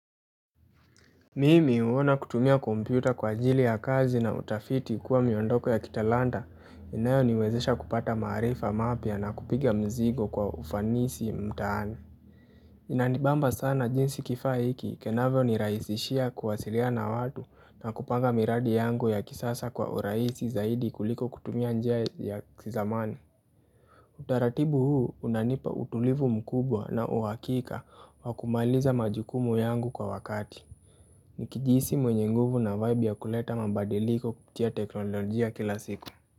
Mimi huona kutumia kompyuta kwa ajili ya kazi na utafiti kuwa miondoko ya kitalanta inayo niwezesha kupata maarifa mapya na kupiga mizigo kwa ufanisi mtaani. Inanibamba sana jinsi kifaa hiki kinavyo nirahisishia kuwasiliana na watu na kupanga miradi yangu ya kisasa kwa urahisi zaidi kuliko kutumia njia ya kizamani. Utaratibu huu unanipa utulivu mkubwa na uhakika wa kumaliza majukumu yangu kwa wakati. Nikijihisi mwenye nguvu na vibe ya kuleta mabadiliko kupitia teknolojia kila siku.